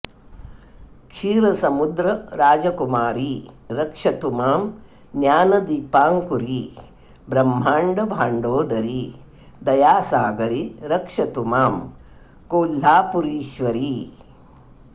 क्षीरसमुद्र राजकुमारी रक्षतु मां ज्ञानदीपाङ्कुरी ब्रह्माण्ड भाण्डोदरी दयासागरि रक्षतु मां कोल्लापुरीश्वरी